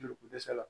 Joli ko dɛsɛ la